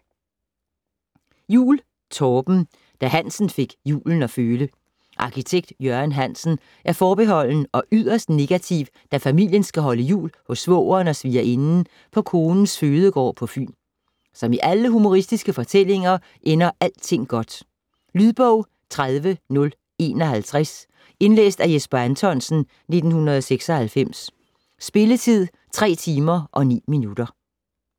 Juul, Torben: Da Hansen fik julen at føle Arkitekt Jørgen Hansen er forbeholden og yderst negativ, da familien skal holde jul hos svogeren og svigerinden på konens fødegård på Fyn. Som i alle humoristiske fortællinger ender alting godt. Lydbog 30051 Indlæst af Jesper Anthonsen, 1996. Spilletid: 3 timer, 9 minutter.